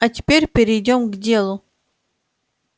а теперь перейдём к делу